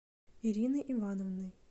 ириной ивановной